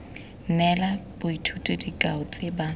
neela boithuti dikao tse ba